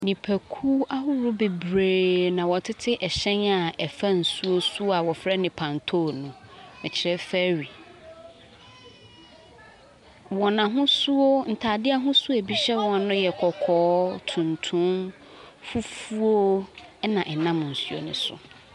Nnipakuo ahodoɔ bebree na wɔtete hyɛn a ɛfa nsuo soɔ a wɔfrɛ no pantone no, mekyerɛ ferry. Wɔn ahosuo ntaadeɛ ahosuo a bi hyɛ wɔn no yɛ kɔkɔɔ, tuntum, fufuo na ɛnam nsuo ne so.